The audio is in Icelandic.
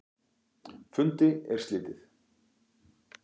Fundi er slitið.